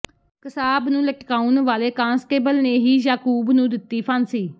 ਕਸਾਬ ਨੂੰ ਲਟਕਾਉਣ ਵਾਲੇ ਕਾਂਸਟੇਬਲ ਨੇ ਹੀ ਯਾਕੂਬ ਨੂੰ ਦਿੱਤੀ ਫਾਂਸੀ